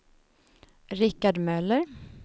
Rikard Möller